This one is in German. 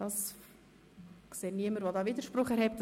Ich sehe niemanden, der dagegen Widerspruch erheben würde.